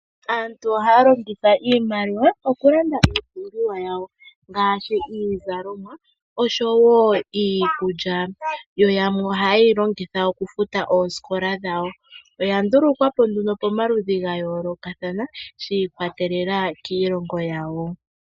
Aantu ohaya longitha iimaliwa okulanda iipumbiwa yawo ngaashi, iizalomwa osho wo iikulya, yo yamwe ohayeyi longitha okufuta oosikola dhawo. Oyandulukwa po nduno pomaludhi gayoolokathana shi ikwatelela kiilongo yawo.